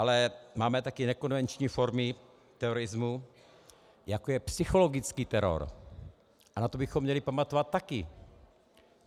Ale máme také nekonvenční formy terorismu, jako je psychologický teror, a na to bychom měli pamatovat také.